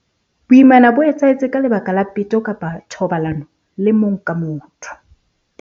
Boimana bo etsahetse ka lebaka la peto kapa thobalano le mong ka motho.